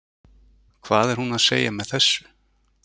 Hvað er hún að segja með þessu?